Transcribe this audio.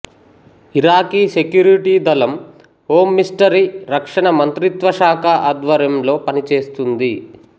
Iraqi security దళం home ministry రక్షణ మంత్రిత్వశాఖ ఆధ్వర్యంలో పనిచేస్తుంది